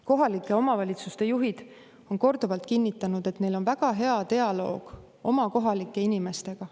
Kohalike omavalitsuste juhid on korduvalt kinnitanud, et neil on väga hea dialoog kohalike inimestega.